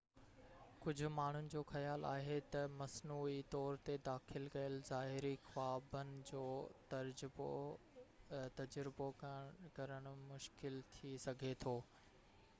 ڪجهہ ماڻهن جو خيال آهي تہ مصنوعي طور تي داخل ڪيل ظاهري خوابن جو تجربو ڪرڻ مشڪل ٿي سگهي ٿو